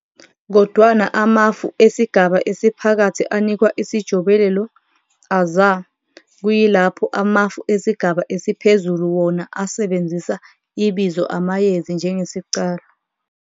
Kodwana amafu esigaba esiphakathi anikwa isijobelelo "aza", kuyilapho amafu esigaba esiphezulu wona asebenzisa ibizo "amayezi" njengesiqalo.